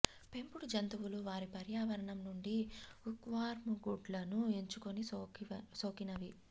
పెంపుడు జంతువులు వారి పర్యావరణం నుండి హుక్వార్మ్ గుడ్లను ఎంచుకుని సోకినవి